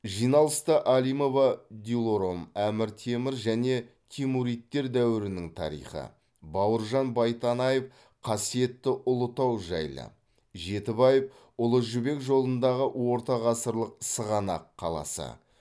жиналыста алимова дилором әмір темір және темуридтер дәуірінің тарихы бауыржан байтанаев қасиетті ұлытау жайлы жетібаев ұлы жібек жолындағы ортағасырлық сығанақ қаласы